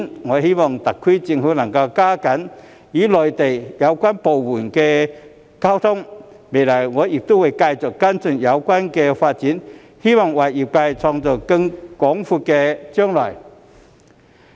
我希望特區政府能加緊與內地有關部門溝通，未來我亦會繼續跟進有關發展，希望為業界創造更廣闊的將來。